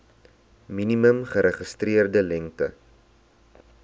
minimum geregistreerde lengte